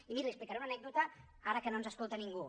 i miri li explicaré una anècdota ara que no ens escolta ningú